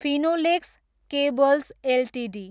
Finolex cables Ltd